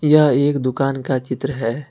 यह एक दुकान का चित्र है।